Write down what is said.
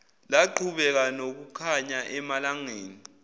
laqhubeka nokukhanya emalangeni